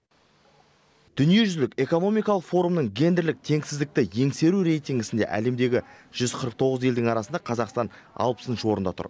дүниежүзілік экономикалық форумның гендерлік теңсіздікті еңсеру рейтингісінде әлемдегі жүз қырық тоғыз елдің арасында қазақстан алпысыншы орында тұр